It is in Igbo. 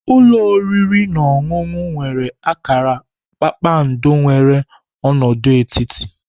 Ulo oriri na ọṅụṅụ nwere akara kpakpando nwere ọnọdụ etiti.